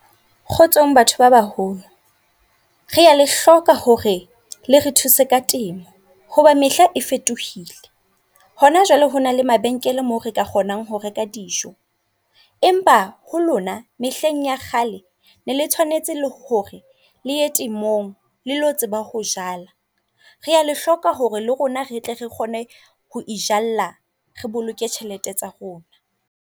Kgotsong batho ba baholo. Rea le hloka hore le re thuse ka temo hoba mehla e fetohile. Hona jwale hona le mabenkele mo re ka kgonang ho reka dijo. Empa ho lona mehleng ya kgale ne le tshwanetse le hore le temong le lo tseba ho jala. Rea le hloka hore le rona re tle re kgone ho itjalla re boloke tjhelete tsa rona.